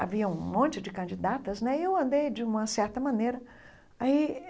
Havia um monte de candidatas e eu andei de uma certa maneira aí.